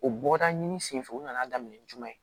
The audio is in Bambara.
O bɔda ɲini senfɛ u nana daminɛ jumɛn